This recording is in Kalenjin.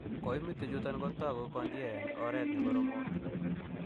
Koimutichuton kotoku kokindie en oret nekoromot.